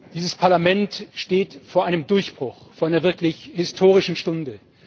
Dieses Parlament steht vor einem Durchbruch, vor einer wirklich historischen Stunde!